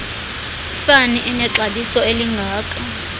ifama enexabiso elingaka